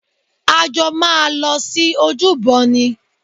A jọ máa lọ sí ojúbọ ni